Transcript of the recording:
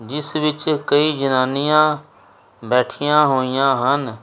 ਜਿਸ ਵਿੱਚ ਕਈ ਜਨਾਨੀਆਂ ਬੈਠੀਆਂ ਹੋਈਆਂ ਹਨ।